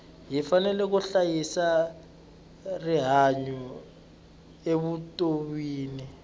hi fanele ku hlayisa rihanyu evutonwini